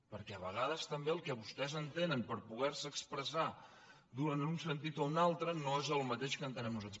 perquè a vegades també el que vostès entenen per poder se expressar en un sentit o un altre no és el mateix que entenem nosaltres